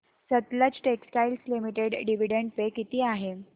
Sutlej textiles limited dividend pay किती आहे